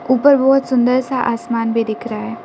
ऊपर बहुत सुंदर सा आसमान भी दिख रहा है।